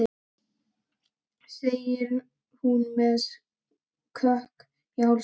segir hún með kökk í hálsinum.